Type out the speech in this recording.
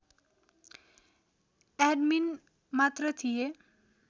admin मात्र थिए